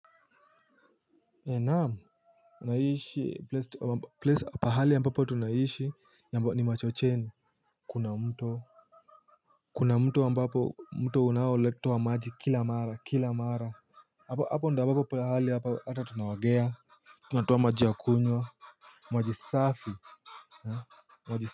Naam unaishi place pahali ambapo tunaishi yambo ni machocheni. Kuna mtu. Kuna mtu ambapo mto unaoleta unatoa maji kila mara kila mara. Hapo ndo ambapo pahali ata tunaogea. Tunatuoa maji ya kunywa. Maji safi.